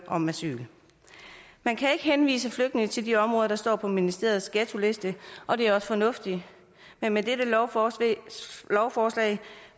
om asyl man kan ikke henvise flygtninge til de områder der står på ministeriets ghettoliste og det er også fornuftigt men med dette lovforslag lovforslag